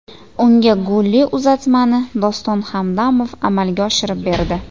Unga golli uzatmani Doston Hamdamov amalga oshirib berdi.